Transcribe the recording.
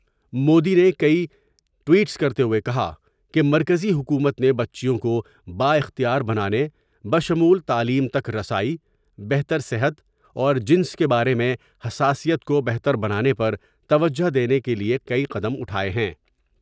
مودی نے کئی ٹوئیٹس کرتے ہوئے کہا کہ مرکزی حکومت نے بچیوں کو با اختیار بنانے بشمول تعلیم تک رسائی ، بہتر صحت اور جنس کے بار میں حساسیت کو بہتر بنانے پر توجہ دینے کے لئے کئی قدم اٹھائے ہیں ۔